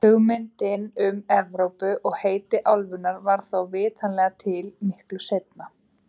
Hugmyndin um Evrópu og heiti álfunnar varð þó vitanlega til miklu seinna.